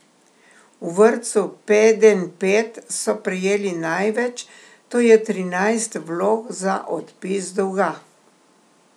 V vrtcu Pedenjped so prejeli največ, to je trinajst vlog za odpis dolga.